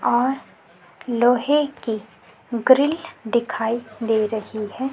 और लोहे की ग्रिल दिखाई दे रही है।